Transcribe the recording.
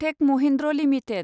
tech Mahindra limited